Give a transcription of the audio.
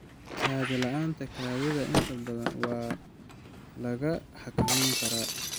Kaadi la'aanta kaadida inta badan waa la xakameyn karaa.